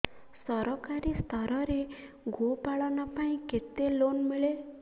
ସରକାରୀ ସ୍ତରରେ ଗୋ ପାଳନ ପାଇଁ କେତେ ଲୋନ୍ ମିଳେ